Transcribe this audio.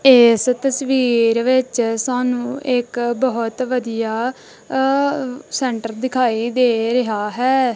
ਏਸ ਤਸਵੀਰ ਵਿੱਚ ਸਾਨੂੰ ਇੱਕ ਬਹੁਤ ਵਧੀਆ ਅ ਸੈਂਟਰ ਦਿਖਾਈ ਦੇ ਰਿਹਾ ਹੈ।